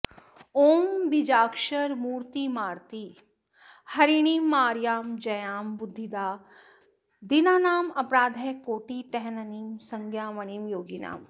ओं बीजाक्षरमूर्तिमार्ति हरिणीमार्यां जयां बुद्धिदां दीनानामपराधकोटिहननीं संज्ञामणिं योगिनाम्